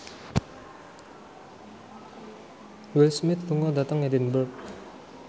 Will Smith lunga dhateng Edinburgh